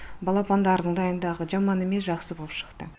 балапандардың дайындағы жаман емес жақсы боп шықты